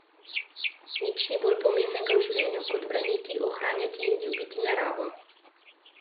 Nič ni bolj pomembnega v življenju kot braniti, ohranjati in ljubiti naravo.